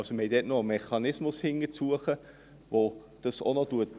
Man hat also dahinter noch einen Mechanismus, welcher dies abfedert.